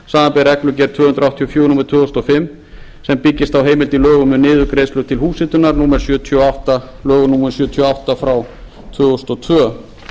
samanber reglugerð tvö hundruð áttatíu og fjögur númer tvö þúsund og fimm sem byggist á heimild í lögum um niðurgreiðslu til húshitunar lög númer sjötíu og átta tvö þúsund og tvö